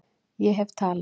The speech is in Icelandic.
Ég hef talað